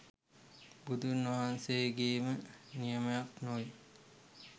බුදුන්වහන්සේගේම නියමයක් නොවේ.